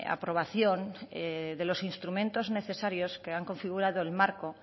aprobación de los instrumentos necesarios que han configurado el marco